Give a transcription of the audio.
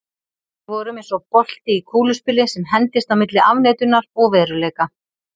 Við vorum eins og bolti í kúluspili sem hendist á milli afneitunar og veruleika.